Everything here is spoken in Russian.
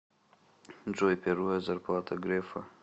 джой первая зарплата грефа